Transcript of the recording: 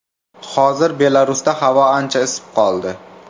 Hozir Belarusda havo ancha isib qoldi.